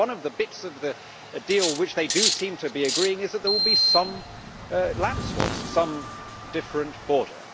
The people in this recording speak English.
One of the bits of the deal which they do seem to be agreeing on is that there will be some land swaps, some different border.